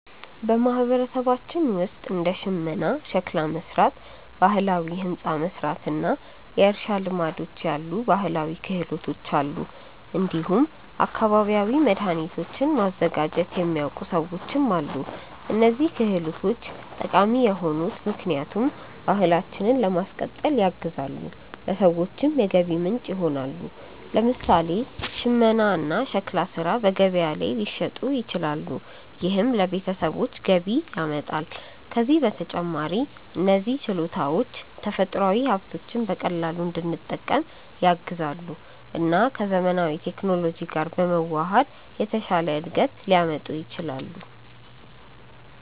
በማህበረሰባችን ውስጥ እንደ ሽመና፣ ሸክላ መሥራት፣ ባህላዊ ሕንፃ መሥራት እና የእርሻ ልማዶች ያሉ ባህላዊ ክህሎቶች አሉ። እንዲሁም አካባቢያዊ መድኃኒቶችን ማዘጋጀት የሚያውቁ ሰዎችም አሉ። እነዚህ ክህሎቶች ጠቃሚ የሆኑት ምክንያቱም ባህላችንን ለማስቀጠል ያግዛሉ፣ ለሰዎችም የገቢ ምንጭ ይሆናሉ። ለምሳሌ ሽመና እና ሸክላ ሥራ በገበያ ላይ ሊሸጡ ይችላሉ፣ ይህም ለቤተሰቦች ገቢ ያመጣል። ከዚህ በተጨማሪ እነዚህ ችሎታዎች ተፈጥሯዊ ሀብቶችን በቀላሉ እንድንጠቀም ያግዛሉ እና ከዘመናዊ ቴክኖሎጂ ጋር በመዋሃድ የተሻለ እድገት ሊያመጡ ይችላሉ።